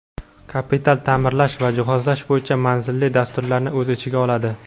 kapital taʼmirlash va jihozlash bo‘yicha manzilli dasturlarni o‘z ichiga oladi.